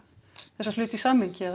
þessa hluti í samhengi að